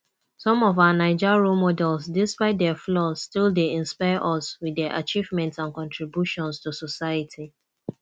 some of our naija role models despite dia flaws still dey inspire us with dia achievements and contributions to society